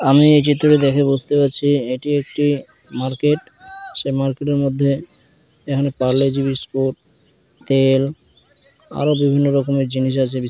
আমি এই চিএটি দেখে বুঝতে পারছি এটি একটি মার্কেট সে মার্কেটের মধ্যে এখানে পারলে জি বিস্কুট তেল আরো বিভিন্ন রকমের জিনিস আছে--